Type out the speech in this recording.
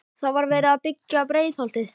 Þá var verið að byggja Breiðholtið.